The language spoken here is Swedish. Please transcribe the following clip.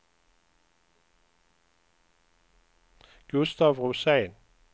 Gustaf Rosén